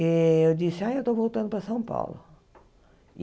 E eu disse, ah, eu estou voltando para São Paulo.